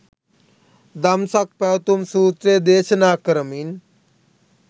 දම්සක් පැවැතුම් සූත්‍රය දේශනා කරමින්